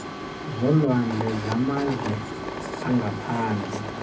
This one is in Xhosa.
zolwandle zamazwe angaphandle